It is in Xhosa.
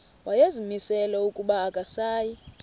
wayezimisele ukuba akasayi